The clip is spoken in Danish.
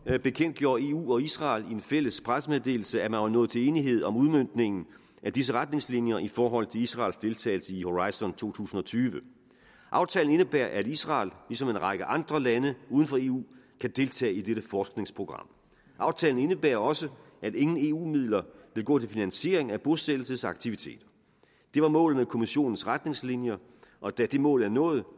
bekendtgjorde eu og israel i en fælles pressemeddelelse at man var nået til enighed om udmøntningen af disse retningslinjer i forhold til israels deltagelse i horizon to tusind og tyve aftalen indebærer at israel ligesom en række andre lande uden for eu kan deltage i dette forskningsprogram aftalen indebærer også at ingen eu midler vil gå til finansiering af bosættelsesaktiviteter det var målet med kommissionens retningslinjer og da det mål er nået